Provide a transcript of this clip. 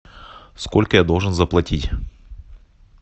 сколько я должен заплатить